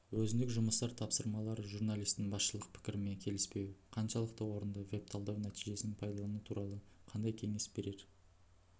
өзіндік жұмыстар тапсырмалары журналистің басшылық пікірімен келіспеуі қаншалықты орынды веб-талдау нәтижесін пайдалану туралы қандай кеңес берер